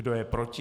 Kdo je proti?